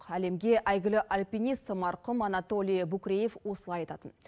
әлемге әйгілі альпинист марқұм анатолий букреев осылай айтатын